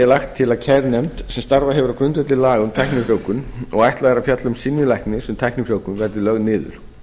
lagt til kærunefnd sem starfað hefur á grundvelli laga um tæknifrjóvgun og ætlað er að fjalla um synjun læknis um tæknifrjóvgun verði lögð niður